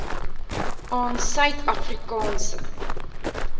aan suid afrikaanse